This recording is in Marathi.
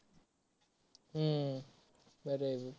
हम्म बर आहे.